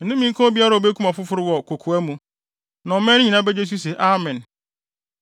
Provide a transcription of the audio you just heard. “Nnome nka obiara a obekum ɔfoforo wɔ kokoa mu.” Na ɔman no nyinaa begye so se, “Amen!”